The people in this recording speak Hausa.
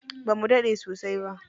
Bamu daɗe sosai ba.